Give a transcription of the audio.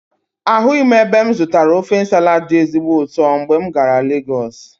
Ahụghị m ebe m zụtara ofe Nsala dị ezigbo ụtọ mgbe m gara Legọsụ.